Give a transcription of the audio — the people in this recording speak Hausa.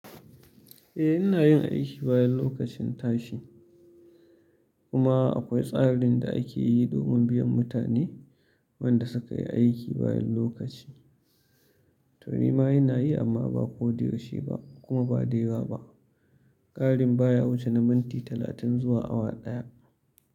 Eh ina yin aiki bayan lokacin tashi, kuma akwai tsarin da ake yi domin biyan mutanen wanda suka yi aiki bayan lokaci. To ni ma ina yi amma ba ko da yaushe ba kuma ba da yawa ba, ƙarin baya wuce na minti talatin zuwa awa ɗaya.